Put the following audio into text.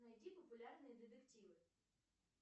найди популярные детективы